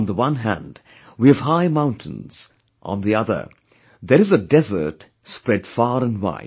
On the one hand, we have high mountains, on the other, there is a desert spread far and wide